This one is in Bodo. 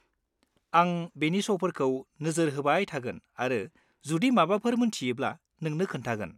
-आं बेनि श'फोरखौ नोजोरहोबाय थागोन आरो जुदि माबाफोर मोन्थियोब्ला नोंनो खोन्थागोन।